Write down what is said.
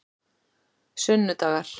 sunnudagar